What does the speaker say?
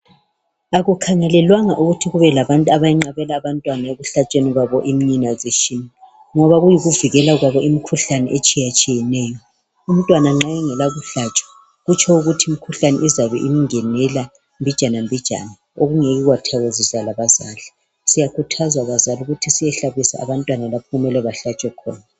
Akukhangelelwanga ukuthi kube labantu abenqabela abantwana ekuhlatshweni kwabo immunisation ngoba kuyikuvikela kwabo imikhuhlane etshiyatshiyeneyo. Umntwana nxa engela kuhlatshwa kutsho ukuthi imikhuhlane izabe imngenela mbijana mbijana okungeke kwathokozisa labazali. Siyakhuthazwa bazali ukuthi siyehlabisa abantwana lapho okumele behlatshwe khona